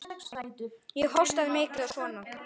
Ég hóstaði mikið og svona.